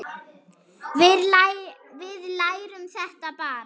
Við lærum þetta bara.